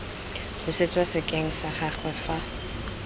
busetswa sekeng sa gagwe fa